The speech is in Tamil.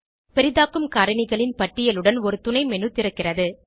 பெரிதாக்கும் காரணி களின் பட்டியலுடன் ஒரு துணைmenu திறக்கிறது